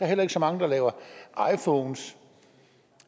heller ikke så mange der laver iphones